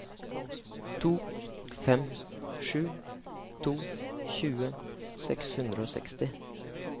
to fem sju to tjue seks hundre og seksti